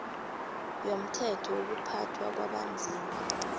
yomthetho wokuphathwa kwabanzima